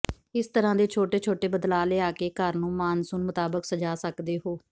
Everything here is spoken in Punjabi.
ਇਸ ਤਰ੍ਹਾਂ ਦੇ ਛੋਟੇ ਛੋਟੇ ਬਦਲਾਅ ਲਿਆ ਕੇ ਘਰ ਨੂੰ ਮਾਨਸੂਨ ਮੁਤਾਬਕ ਸਜਾ ਸਕਦੇ ਹੋ